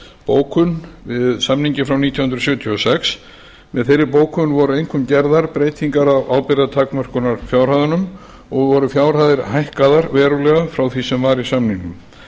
bókun við samninginn frá nítján hundruð sjötíu og sex með þeirri bókum voru einkum gerðar breytingar á ábyrgðartakmörkunarfjárhæðunum og voru fjárhæðir hækkaðar verulega frá því sem var í samningnum